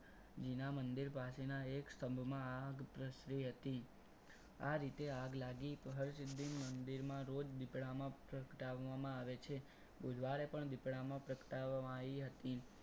જીના મંદિર પાસેના એક સ્તંભમાં આગ પ્રસરી હતી. આ રીતે આગ લાગી હરસિધ્ધિ મંદિરમાં રોજ દેવડામાં પ્રગટાવવામાં આવે છે. બુધવારે પણ દીવડામાં પ્રગટાવવામાં આવી હતી.